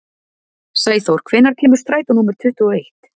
Sæþór, hvenær kemur strætó númer tuttugu og eitt?